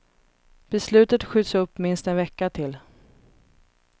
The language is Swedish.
Beslutet skjuts upp minst en vecka till.